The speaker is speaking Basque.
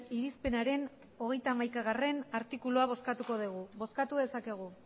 irizpenaren hogeita hamaikagarrena artikulua bozkatuko dugu bozkatu dezakegu